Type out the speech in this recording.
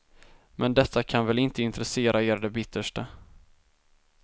Men detta kan väl inte intressera er det bittersta.